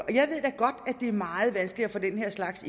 det er meget vanskeligt at få den slags